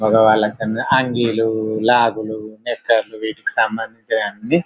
మొగవాళ్లకు అంగీలు లాగులు నిక్కర్లు వీటికి సంబంధిచిన అన్ని --